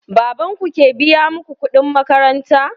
Baban ku ke biya muku kuɗin makaranta?